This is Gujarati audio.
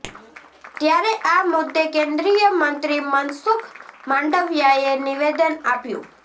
ત્યારે આ મુદ્દે કેન્દ્રીય મંત્રી મનસુખ માંડવિયાએ નિવેદન આપ્યું